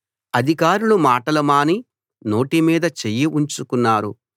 అధికారులు మాటలు మాని నోటి మీద చెయ్యి ఉంచుకున్నారు